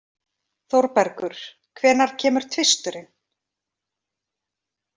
Þórbergur, hvenær kemur tvisturinn?